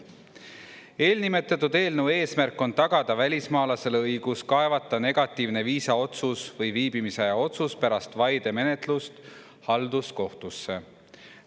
Eelnimetatud eelnõu eesmärk on tagada välismaalasele õigus kaevata negatiivne viisaotsus või viibimisaja otsus pärast vaidemenetlust halduskohtusse.